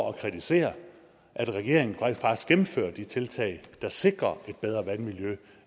og kritiserer at regeringen rent faktisk gennemfører de tiltag der sikrer et bedre vandmiljø